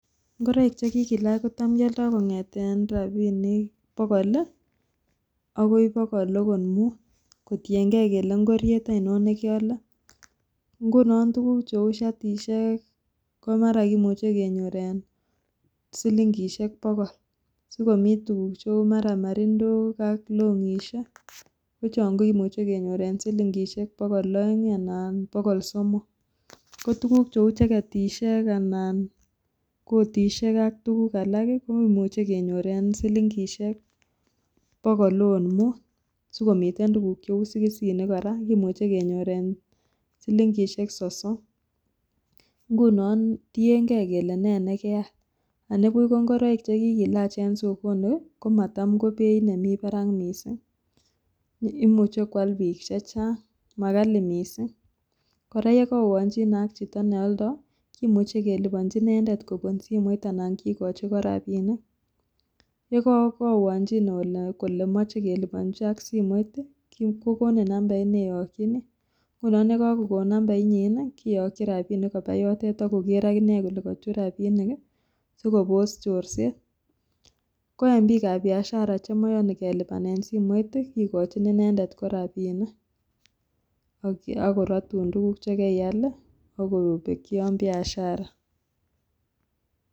Ngoroik chekikilach kotam kialdo kong'eten rapinik bogol akoi bogol akot mut kotiengee kele ngoriet ainon nekeale ngunon tukuk cheu shatishek komara kimuche kenyor en silingisiek bogol, sikomi tukuk cheu mara marindok ak longisiek kochon kokimuche kenyor en silingisiek bogol aeng anan bogol somok ko tukuk cheu jeketisiek anan kotisiek ak tuguk alak kimuche kenyor en silingisiek bogol akot mut sikomii tutk cheu sikisinik kora kimuche kenyor en silingisiek sosom ngunon tiengee kele nee chekeal anibuch ko ngoroik chekikilach en sokoni komatam kobeit nemi barak mising imuche kwal biik chechang makali mising kora yekaoanchin ak chito nealdo kimuche kelipanchi inendet kopun simot anan kikochi inendet kora rapinik yekokoanchine ole kole moche kelipanchi aki simoit kokonin numbait neeyokyini, ngunon yekokoko numbainyin kyokyin rapinik kopaa yotet akokere akinee kole kochut rapinik sikopos chorset ko en biikab biashara chemoyoni kelipanen simoit kikochin inendet ko rapinik akorotun tukuk chekeial akobekyi yon biashara.